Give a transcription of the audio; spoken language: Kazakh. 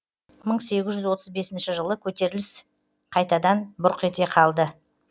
мың сегіз жүз отыз бесінші жылы көтеріліс қайтадан бұрқ ете қалды